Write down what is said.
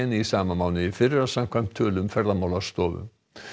í sama mánuði í fyrra samkvæmt tölum Ferðamálastofu